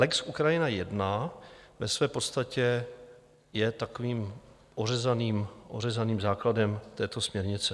Lex Ukrajina I ve své podstatě je takovým ořezaným základem této směrnice.